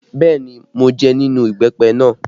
Bẹẹ ni, mo jẹ nínú ìbẹ́pẹ náà